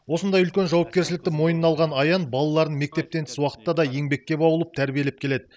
осындай үлкен жауапкершілікті мойнына алған аян балаларын мектептен тыс уақытта да еңбекке баулып тәрбиелеп келеді